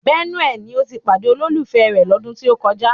Bẹ́núè ni ó ti pàdé olólùfẹ́ rẹ̀ lọ́dún tí ó kọjá